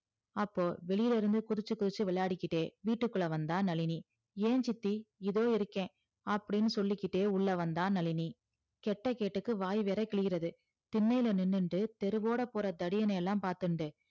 அப்போ வெளியில இருந்து குதிச்சி குதிச்சி விளையாடிகிட்டே விட்டுகுள்ள வந்தா நழினி ஏ சித்தி இதோ இருக்க அப்படின்னு சொல்லிகிட்டே உள்ள வந்த நழினி கேட்ட கேட்டுக்கு வாய் வேற கிழிறது திண்ணையில நின்னுட்டு தெருவோட போற தடியனலா பாத்துன்ட்டு